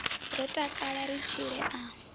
ro takala ri tshile a